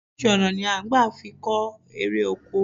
Oríṣiríṣi ọ̀nà ni à n gbà fi kó erè oko